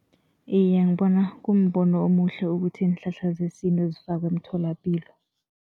Iye, ngibona kumbono omuhle ukuthi iinhlahla zesintu zifakwe emtholapilo.